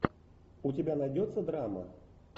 у тебя найдется драма